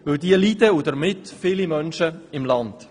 Denn diese leiden und damit viele Menschen im Land.